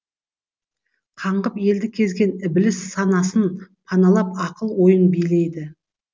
қаңғып елді кезген ібіліс санасын паналап ақыл ойын билейді